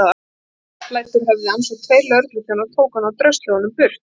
Það fossblæddi úr höfði hans og tveir lögregluþjónar tóku hann og drösluðu honum burt.